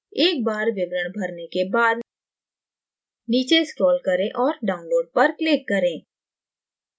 एक बार विवरण भरने के बाद नीचे scroll करें और download पर click करें